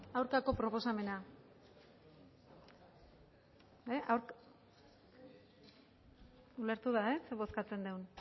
aurkako proposamena ulertu dugu zer bozkatzen dugun